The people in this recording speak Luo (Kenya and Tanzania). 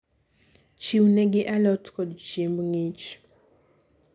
Chiw ne gi alot kod chiemb ng'ich.